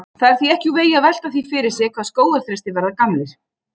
Það er því ekki úr vegi að velta því fyrir sér hvað skógarþrestir verða gamlir.